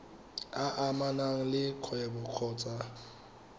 a amanang le kgwebo kgotsa